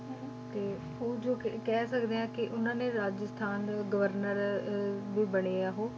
ਤੇ ਉਹ ਜੋ ਕਿ ਕਹਿ ਸਕਦੇ ਹਾਂ ਕਿ ਉਹਨਾਂ ਨੇ ਰਾਜਸਥਾਨ ਗਵਰਨਰ ਅਹ ਵੀ ਬਣੇ ਆ ਉਹ,